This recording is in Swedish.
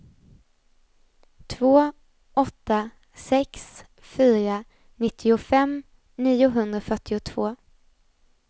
två åtta sex fyra nittiofem niohundrafyrtiotvå